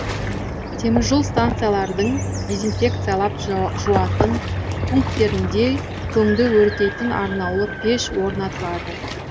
теміржол станциялардың дезинфекциялап жуатын пункттерінде көңді өртейтін арнаулы пеш орнатылады